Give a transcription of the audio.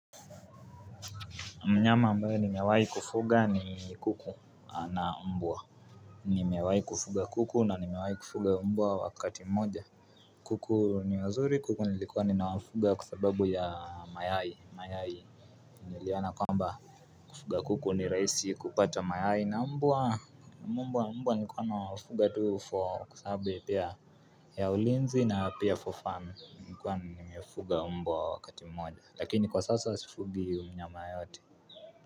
Mnyama ambayo nimewai kufuga ni kuku na mbwa Nimewai kufuga kuku na nimewai kufuga mbwa wakati mmoja kuku ni wazuri kuku nilikuwa ninawafuga kusababu ya mayai mayai Niliona kwamba kufuga kuku ni rahisi kupata mayai na mbwa Mbwa mbwa nilikuwa ninawafuga tuu for kusabe pia ya ulinzi na pia for fun nikuwa ninawafuga mbwa wakati mmoja lakini kwa sasa sifugi mnyama yote.